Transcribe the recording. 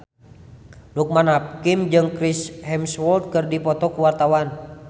Loekman Hakim jeung Chris Hemsworth keur dipoto ku wartawan